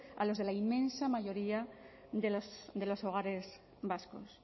a los de la inmensa mayoría de los hogares vascos